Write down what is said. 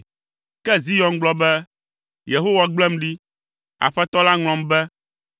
Ke Zion gblɔ be, “Yehowa gblem ɖi, Aƒetɔ la ŋlɔm be.”